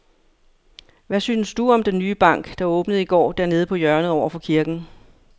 Hvad synes du om den nye bank, der åbnede i går dernede på hjørnet over for kirken?